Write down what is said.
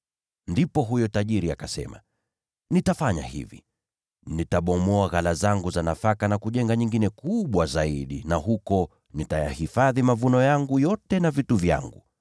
“Ndipo huyo tajiri akasema, ‘Nitafanya hivi: Nitabomoa ghala zangu za nafaka na kujenga nyingine kubwa zaidi na huko nitayahifadhi mavuno yangu yote na vitu vyangu.